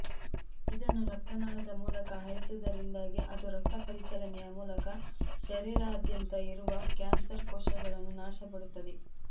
ಇದನ್ನು ರಕ್ತನಾಳದ ಮೂಲಕ ಹಾಯಿಸುವುದರಿಂದಾಗಿ ಅದು ರಕ್ತಪರಿಚಲನೆಯ ಮೂಲಕ ಶರೀರದಾದ್ಯಂತ ಇರುವ ಕ್ಯಾನ್ಸರ್ಕೋಶಗಳನ್ನು ನಾಶಪಡಿಸುತ್ತದೆ